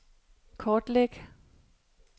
kortlæg